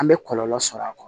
An bɛ kɔlɔlɔ sɔrɔ a kɔnɔ